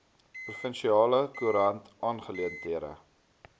provinsiale koerant aangeleenthede